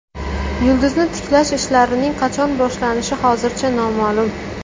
Yulduzni tiklash ishlarining qachon boshlanishi hozircha noma’lum.